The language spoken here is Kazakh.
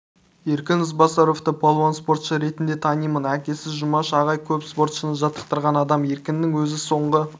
еркін ізбасаровты палуан спортшы ретінде танимын әкесі жұмаш ағай көп спортшыны жаттықтырған адам еркіннің өзі соңғы